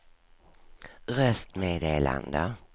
röstmeddelande